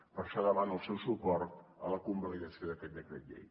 per això demano el seu suport a la convalidació d’aquest decret llei